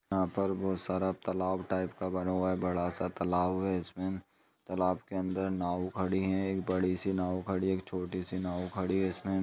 यहाँ पर बहुत सारा तालाब टाइप का बना हुआ है बड़ा सा तालाब इसमें तालाब के अंदर नाव खड़ी है एक बड़ी सी नाव खड़ी है एक छोटी सी नाव खड़ी है इसमें--